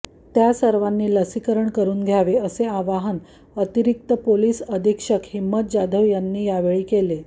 त्या सर्वांनी लसीकरण करुन घ्यावे असे अवाहन अतिरिक्त पोलिस अधीक्षक हिम्मत जाधव यांनी यावेळी केले